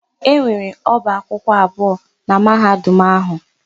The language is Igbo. E nwere ọba akwụkwọ abụọ na Mahadum áhụ̀.